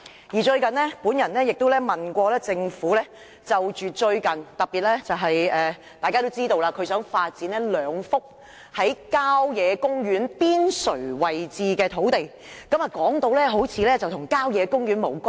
我最近亦曾就此向政府提問，特別是大家都知道，政府有意發展兩幅郊野公園邊陲地帶土地；按政府的說法，好像該等土地與郊野公園無關。